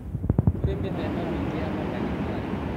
Kũrĩ mĩthemba mĩingĩ ya mandagĩtarĩ